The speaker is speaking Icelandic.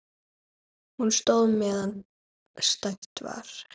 Hún stóð meðan stætt var.